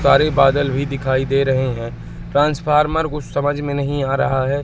सारे बादल भी दिखाई दे रहे हैं ट्रांसफार्मर कुछ समझ में नहीं आ रहा है।